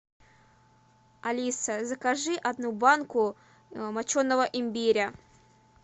алиса закажи одну банку моченого имбиря